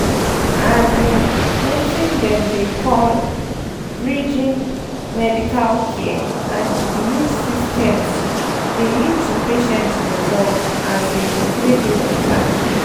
um weting dem dey call pause— bridging pause medical care and the belief systems dey lead to patient results um wey dey better.